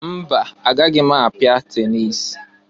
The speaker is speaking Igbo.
Mba! Agaghi m apịa tenis.